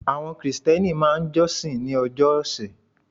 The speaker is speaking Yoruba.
Àwon krìsténi máa n josin ní ojó òsè